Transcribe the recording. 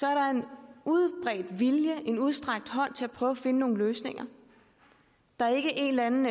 er der en udbredt vilje og en udstrakt hånd til at prøve at finde nogle løsninger der er ikke en eller anden